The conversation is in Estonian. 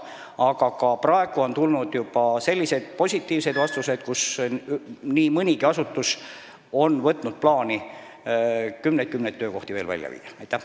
Aga juba praegu on tulnud positiivseid vastuseid: nii mõnigi asutus on võtnud plaani veel kümneid-kümneid töökohti pealinnast välja viia.